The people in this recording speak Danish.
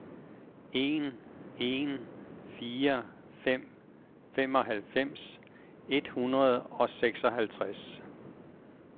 en en fire fem femoghalvfems et hundrede og seksoghalvtreds